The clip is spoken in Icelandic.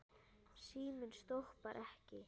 Síminn stoppar ekki.